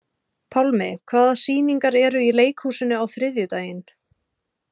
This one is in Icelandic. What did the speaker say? Pálmi, hvaða sýningar eru í leikhúsinu á þriðjudaginn?